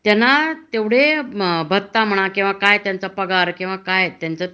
त्यांना तेवढे भत्ता म्हणा किंवा काय पगार